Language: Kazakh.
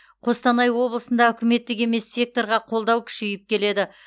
қостанай облысында үкіметтік емес секторға қолдау күшейіп келеді